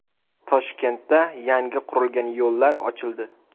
Toshkentda yangi qurilgan yo‘llar ochildi.